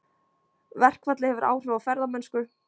Verkfallið hefur áhrif á ferðamennsku